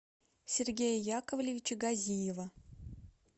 сергея яковлевича газиева